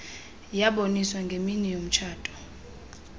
yaboniswa ngemini yomtshato